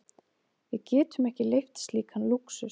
Við getum ekki leyft slíkan lúxus.